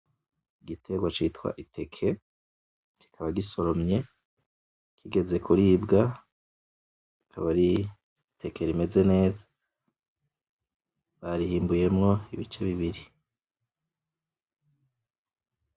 Igiterwa citwa iteke, kikaba gisoromye kigeze kuribwa rikaba ari iteke rimeze neza barihimbuyemwo ibice bibiri.